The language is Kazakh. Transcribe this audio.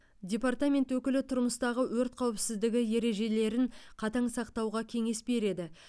департамент өкілі тұрмыстағы өрт қауіпсіздігі ережелерін қатаң сақтауға кеңес береді